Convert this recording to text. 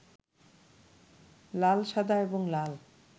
লাল, সাদা এবং লাল